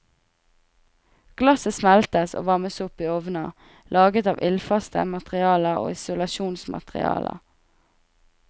Glasset smeltes og varmes opp i ovner laget av ildfaste materialer og isolasjonsmaterialer.